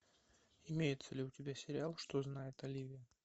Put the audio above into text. имеется ли у тебя сериал что знает оливия